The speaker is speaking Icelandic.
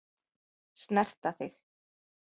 Snerta þig.